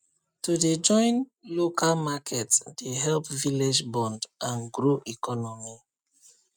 to dey join local market dey help village bond and grow economy